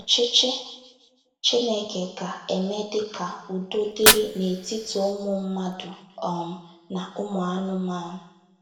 Ọchịchị Chineke ga - emedị ka udo dịrị n’etiti ụmụ mmadụ um na ụmụ anụmanụ!